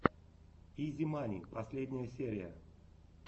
изи мани последняя серия